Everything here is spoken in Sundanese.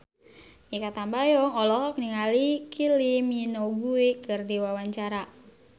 Mikha Tambayong olohok ningali Kylie Minogue keur diwawancara